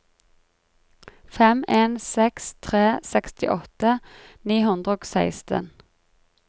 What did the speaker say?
fem en seks tre sekstiåtte ni hundre og seksten